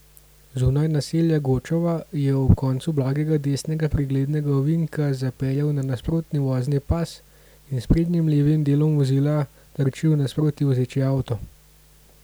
Zunaj naselja Gočova je ob koncu blagega desnega preglednega ovinka zapeljal na nasprotni vozni pas in s sprednjim levim delom vozila trčil v nasproti vozeči avto.